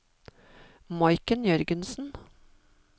Maiken Jørgensen